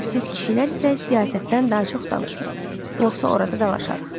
Siz kişilər isə siyasətdən daha çox danışmayın, yoxsa orada dalaşarıq.